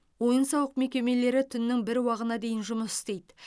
ойын сауық мекемелері түннің бір уағына дейін жұмыс істейді